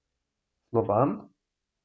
Slovan?